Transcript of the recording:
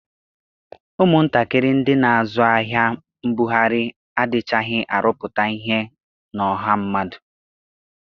Ụmụntakịrị ndị na-azụ ahịa mbughari adịchaghị arụpụta ihe na ọha mmadụ.